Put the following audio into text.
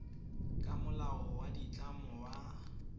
ka molao wa ditlamo wa